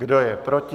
Kdo je proti?